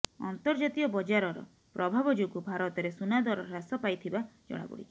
ଅନ୍ତର୍ଜାତୀୟ ବଜାରର ପ୍ରଭାବ ଯୋଗୁ ଭାରତରେ ସୁନାଦର ହ୍ରାସ ପାଇଥିବା ଜଣାପଡିଛି